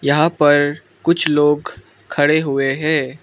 यहां पर कुछ लोग खड़े हुए हैं।